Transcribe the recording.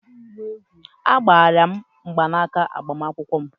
Agbaara m mgbanaaka agbamakwụkwọ m.